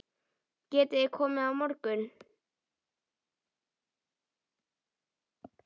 Getiði komið á morgun?